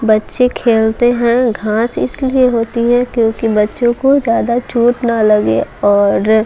बच्चे खेलते हैं घांस इसलिए होती है क्योंकि बच्चों को ज्यादा चोट ना लगे और--